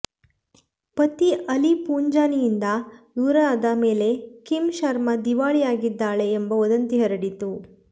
ಪತಿ ಅಲಿ ಪುಂಜಾನಿಯಿಂದ ದೂರಾದ ಮೇಲೆ ಕಿಮ್ ಶರ್ಮಾ ದಿವಾಳಿಯಾಗಿದ್ದಾಳೆ ಎಂಬ ವದಂತಿ ಹರಡಿತ್ತು